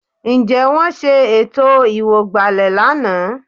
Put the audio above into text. Ǹjẹ́ wọ́n ṣe ètò ìwọ̀gbàlẹ̀ lánàá?